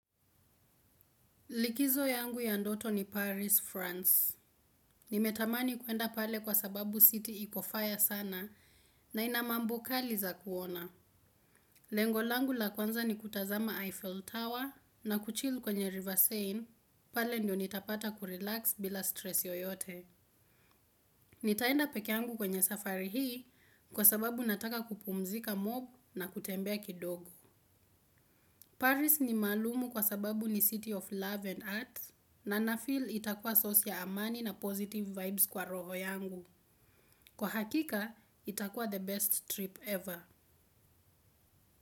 Likizo yangu ya ndoto ni Paris, France. Nimetamani kuenda pale kwa sababu city iko faya sana na ina mambo kali za kuona. Lengo langu la kwanza ni kutazama Eiffel Tower na kuchill kwenye River Seine, pale ndio nitapata kurelax bila stress yoyote. Nitaenda pekee yangu kwenye safari hii kwa sababu nataka kupumzika mob na kutembea kidogo. Paris ni maalumu kwa sababu ni city of love and earth, na nafeel itakua source ya amani na positive vibes kwa roho yangu. Kwa hakika, itakua the best trip ever.